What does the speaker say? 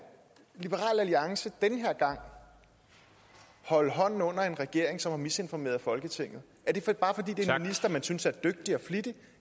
liberal alliance den her gang holde hånden under en regering som har misinformeret folketinget er det bare fordi det er en minister man synes er dygtig og flittig